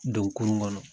Don kurun kɔnɔ